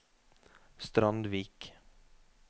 Strandvik